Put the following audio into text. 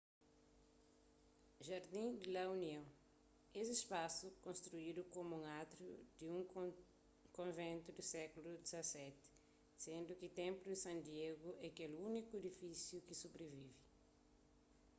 jardín de la unión es spasu konstruidu komu un átriu pa un konventu di séklu xvii sendu ki templo de san diego é kel úniku edifisiu ki sobrivive